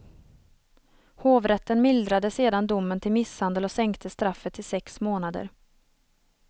Hovrätten mildrade sedan domen till misshandel och sänkte straffet till sex månader.